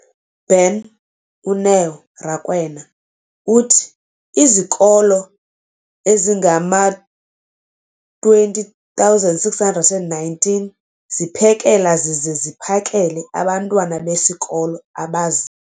beni, uNeo Rakwena, uthi izikolo ezingama-20 619 ziphekela zize ziphakele abantwana besikolo abazi-